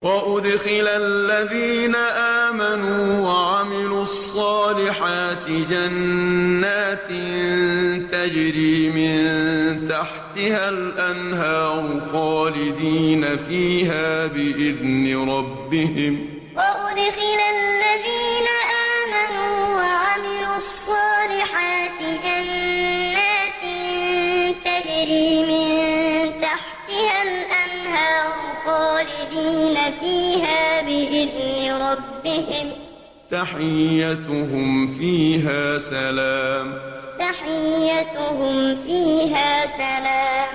وَأُدْخِلَ الَّذِينَ آمَنُوا وَعَمِلُوا الصَّالِحَاتِ جَنَّاتٍ تَجْرِي مِن تَحْتِهَا الْأَنْهَارُ خَالِدِينَ فِيهَا بِإِذْنِ رَبِّهِمْ ۖ تَحِيَّتُهُمْ فِيهَا سَلَامٌ وَأُدْخِلَ الَّذِينَ آمَنُوا وَعَمِلُوا الصَّالِحَاتِ جَنَّاتٍ تَجْرِي مِن تَحْتِهَا الْأَنْهَارُ خَالِدِينَ فِيهَا بِإِذْنِ رَبِّهِمْ ۖ تَحِيَّتُهُمْ فِيهَا سَلَامٌ